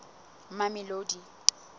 mamelodi